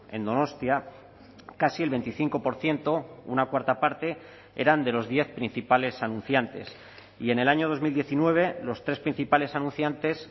en donostia casi el veinticinco por ciento una cuarta parte eran de los diez principales anunciantes y en el año dos mil diecinueve los tres principales anunciantes